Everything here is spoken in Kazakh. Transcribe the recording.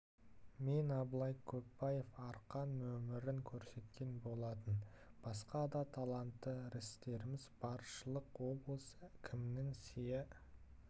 мен абылай көпбаев арқан нөмірін көрсеткен болатын басқа да талантты рістеріміз баршылық облыс кімінің сыйы